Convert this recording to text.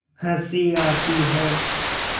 हँसी आती है